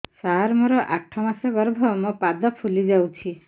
ସାର ମୋର ଆଠ ମାସ ଗର୍ଭ ମୋ ପାଦ ଫୁଲିଯାଉଛି